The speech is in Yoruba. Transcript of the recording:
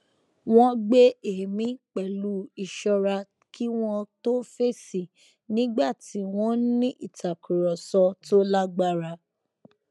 wón gbé èémí pẹlú ìṣọra kí wón tó fèsì nígbà tí wón n ní ìtakúrọsọ tó lágbára